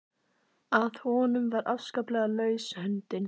Að honum var afskaplega laus höndin.